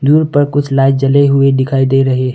दूर पर कुछ लाइट जले हुए दिखाई दे रहे हैं।